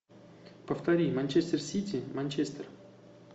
повтори манчестер сити манчестер